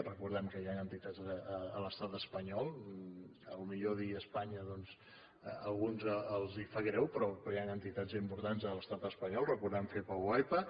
recordem que hi han entitats a l’estat espanyol potser dir espanya doncs a alguns els hi sap greu però hi han entitats importants a l’estat espanyol recordem fepa oepa